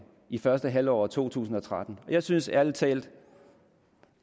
i første halvår af to tusind og tretten jeg synes ærlig talt